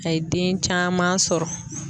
A ye den caman sɔrɔ.